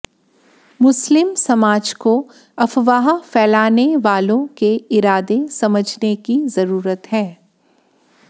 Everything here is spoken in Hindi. मुस्लिम समाज को अफवाह पैलाने वालों के इरादे समझने की जरूरत है